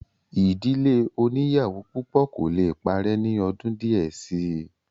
ìdílé oníyàwó púpọ̀ kò le parẹ́ ní ọdún díẹ̀ síi